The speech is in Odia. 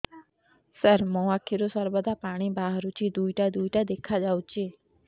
ସାର ମୋ ଆଖିରୁ ସର୍ବଦା ପାଣି ବାହାରୁଛି ଦୁଇଟା ଦୁଇଟା ଦେଖାଯାଉଛି